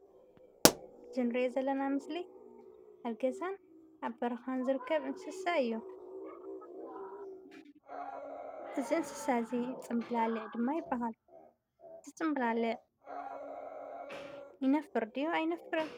እዚ ንሪኦ ዘለና ምስሊ ኣብ ገዛን ኣብ በረኻ ዝርከብ እንስሳ እዩ። እዚ እንስሳ እዚ ፅምላሊዕ ድማ ይበሃል። እዚ ፅምብላሊዕ ይነፍር ድዩ ኣይነፍርን?